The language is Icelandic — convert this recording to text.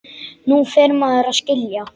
Nú fer maður að skilja!